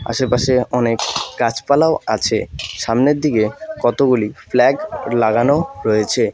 আশেপাশে অনেক গাছপালাও আছে সামনের দিকে কতগুলি ফ্ল্যাগ লাগানো রয়েছে।